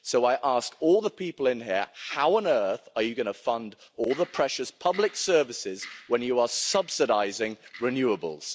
So I ask all the people in here how on earth are you going to fund all the precious public services when you are subsidising renewables?